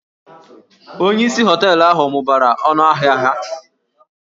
Onyeisi hóteélụ̀ ahụ mụbara ọnụ ahịa ha